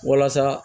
Walasa